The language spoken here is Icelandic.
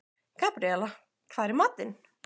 Gabríela, hvað er í matinn?